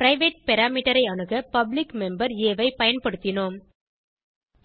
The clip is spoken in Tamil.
பிரைவேட் பாராமீட்டர் ஐ அணுக பப்ளிக் மெம்பர் ஆ ஐ பயன்படுத்தினோம்